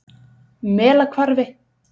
Melahvarfi